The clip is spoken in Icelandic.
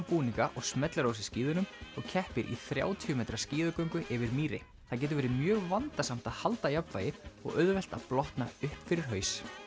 búninga og smellir á sig skíðunum og keppir í þrjátíu metra skíðagöngu yfir mýri það getur verið mjög vandasamt að halda jafnvægi og auðvelt að blotna upp fyrir haus